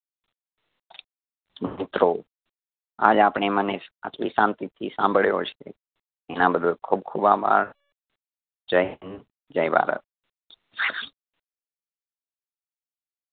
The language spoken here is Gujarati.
મિત્રો આજ આપણે મને આટલી આટલી શાંતિ થી સાંભળ્યો છે એના બદલ ખૂબ ખૂબ આભાર. જય હિંદ, જય ભારત